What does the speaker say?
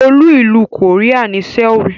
Olú ìlú Korea ni Seoul.